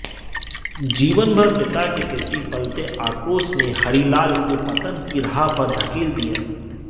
जीवनभर पिता के प्रति पलते आक्रोश ने हरिलाल को पतन की राह पर धकेल दिया